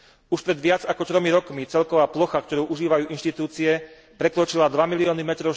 Už pred viac ako tromi rokmi celková plocha, ktorú užívajú inštitúcie, prekročila 2 milióny m